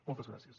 moltes gràcies